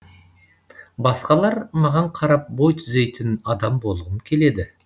басқалар маған қарап бой түзейтін адам болғым келеді